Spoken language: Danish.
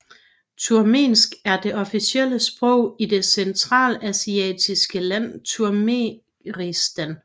Turkmensk er det officielle sprog i det centralasiatiske land Turkmenistan